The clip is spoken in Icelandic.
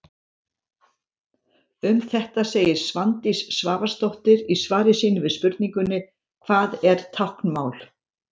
Um þetta segir Svandís Svavarsdóttir í svari sínu við spurningunni: Hvað er táknmál?